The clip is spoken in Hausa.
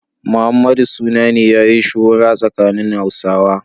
Muhammadu suna ne yayi shuhura tsakanin Hausawa.